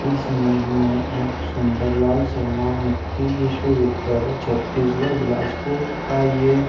इस इमेज में एक सुन्दर लाल शर्मा मुक्ति विश्वविद्यालय छत्तीसगढ़ बिलासपुर का ये --